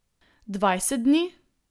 Dvajset dni?